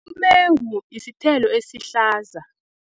Umengu isithelo esihlaza.